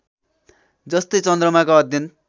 जस्तै चन्द्रमाका अध्ययन